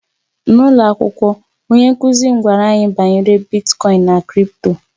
N'ụlọ akwụkwọ, onye nkụzi m gwara anyị banyere Bitkoin na crị̀pto